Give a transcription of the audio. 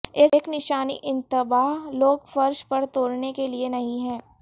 ایک نشانی انتباہ لوگ فرش پر توڑنے کے لئے نہیں ہیں